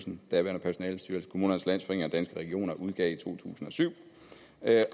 den daværende personalestyrelse kommunernes landsforening og danske regioner udgav i to tusind og syv